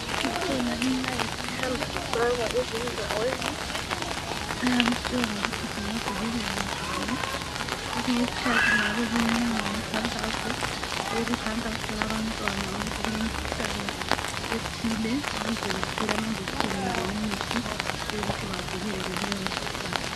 Kukhona imilayezo ehamba ifakwa ezindaweni nxa besitshela ngokuthi singavikeleka njani kwesinye isikhathi kungabe kubuya umikhankaso ekhankasela abantwana ukuthi kulemkhuhlane ethile ukuze bathole ama injection kumbe imithi yokuthi bavikeleke kuleyo mikhuhlane.